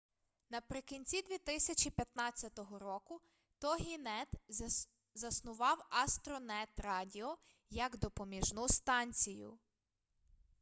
наприкінці 2015 року тогінет заснував астронет радіо як допоміжну станцію